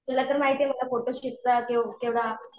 तुला तर माहिती आहे मला फोटो शूटचा केवढा